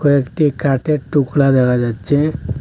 কয়েকটি কাঠের টুকরা দেখা যাচ্ছে।